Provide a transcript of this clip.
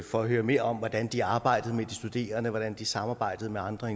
for høre mere om hvordan de arbejder med de studerende hvordan de samarbejder med andre